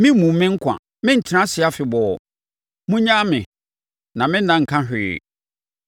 Memmu me nkwa; mentena ase afebɔɔ. Monnyaa me; na me nna nka hwee.